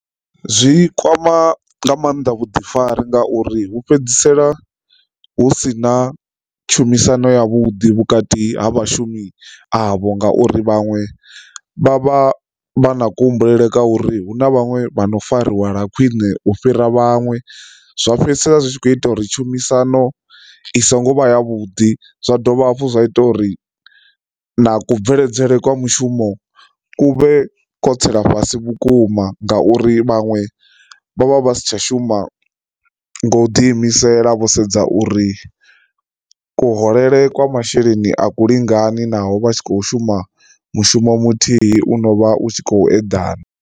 Zwi kwama nga mannḓa vhuḓifari ngauri hu fhedzisela hu si na tshumisano ya vhuḓi vhukati ha vhashumi avho ngauri vhaṅwe vha vha vha na kuhumbulele kwa uri hu na vhaṅwe vhano fariwa lwa khwine u fhira vhaṅwe. Zwa fhedzisela zwitshi kho ita uri tshumisano i songo vha ya vhuḓi, zwa dovha hafhu zwa ita uri na kusheledzele kwa mushumo huvhe kho tsela fhasi vhukuma ngauri vhaṅwe vha vha vha si tsha shuma nga u ḓi imisela vho sedza uri kuhulele kwa masheleni a ku lingani naho vha tshi khou shuma mushumo muthihi uno vha u tshi khou eḓana.